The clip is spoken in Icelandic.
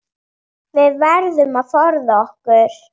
Við verðum að forða okkur.